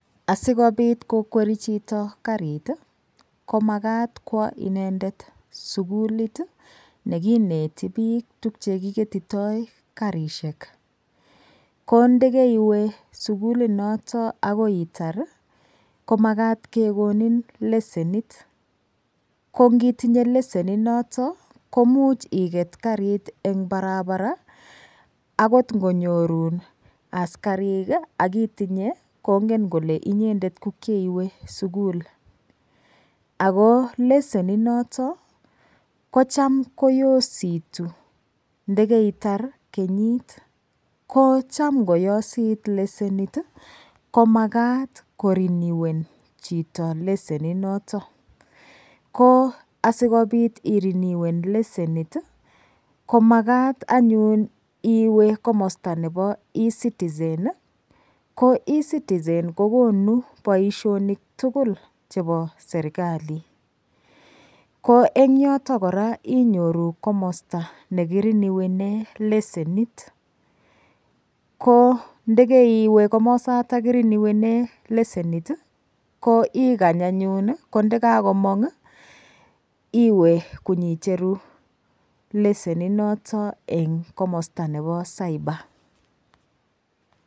Asikobit kokweri chito karit komakat kwo inendet sukulit nekineti biik tukche kiketitoi karishek ko ndikeiwe sukulinoto akoi itar komakat kekonin lesenit ko ngitinye leseni noto komuch iket karit eng' barabara akot ngonyorun askarik akotinyei kongen kole inyendet kokieiwe sukul ako leseni noto kocham koyositu ndekeitar kenyit ko Cham ngoyosit lesenit komakat koreniwen chito leseninoto ko asikobit iriniwene lesenit komakat anyun iwe komosta nebo ecitizen ko ecitizen kokonu boishonik tugul chebo serikali ko eng' yoto kora inyoru komosta nekiriniwene lasenit ko ndikeiwe komosata kirinowene lesenit ko ikany anyun ko ndikakomong' iwe konyicheru leseni noto eng' komosta nebo cyber